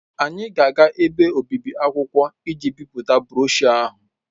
Anyị ga-aga ebe obibi akwụkwọ iji bipụta broshuọ ahụ.